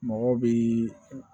Mɔgɔ bi